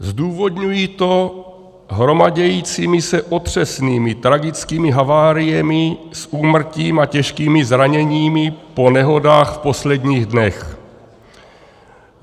Zdůvodňuji to hromadícími se otřesnými tragickými haváriemi s úmrtím a těžkými zraněními po nehodách v posledních dnech.